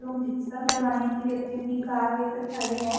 लोग डीजल भरवाने के लिए अपनी-अपनी कार लेके खड़े हैं।